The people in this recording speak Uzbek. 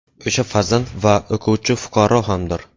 O‘sha farzand va o‘quvchi fuqaro hamdir.